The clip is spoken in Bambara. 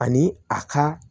Ani a ka